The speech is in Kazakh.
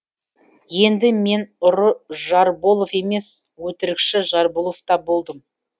енді мен ұры жарболов емес өтірікші жарболов та болдым